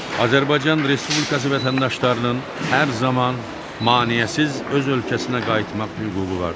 Azərbaycan Respublikası vətəndaşlarının hər zaman maneəsiz öz ölkəsinə qayıtmaq hüququ vardır.